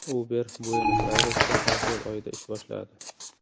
Uber Buenos-Ayresda aprel oyida ish boshladi.